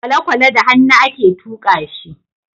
kwalekwale da hannu a ke tuka shi